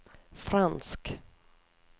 fransk